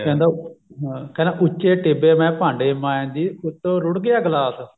ਕਹਿੰਦਾ ਹਾਂ ਕਹਿੰਦਾ ਉੱਚੇ ਟਿੱਬੇ ਮੈਂ ਭਾਂਡੇ ਮਾਂਜਦੀ ਉੱਤੋਂ ਰੁੜ ਗਿਆ ਗਿਲਾਸ